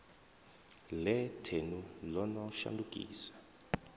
ḽe thenu ḽo no shandukisa